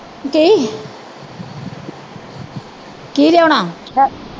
ਕੀ ਲਿਆਉਣਾ